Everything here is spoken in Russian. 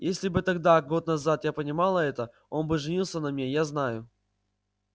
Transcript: если бы тогда год назад я понимала это он бы женился на мне я знаю